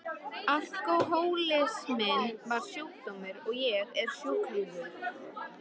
Alkohólisminn var sjúkdómur og ég sjúklingur.